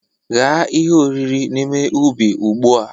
Ghaa ihe oriri n'ime ubi ugbu a!